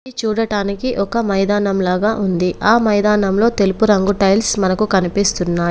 ఇది చూడటానికి ఒక మైదానం లాగా ఉంది. ఆ మైదానంలో తెలుపు రంగు టైల్స్ మనకు కనిపిస్తున్నాయి.